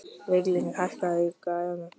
Viglín, hækkaðu í græjunum.